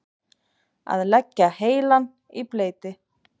Að leggja heilann í bleyti